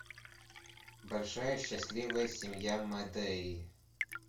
большая счастливая семья мэдеи